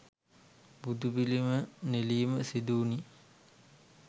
බුදුපිළිම නෙලීම සිදුවුණි.